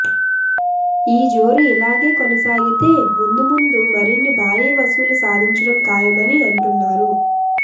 ఈ జోరు ఇలాగె కొనసాగితే ముందు ముందు మరిన్ని భారీ వసూళ్లు సాధించడం ఖాయమని అంటున్నారు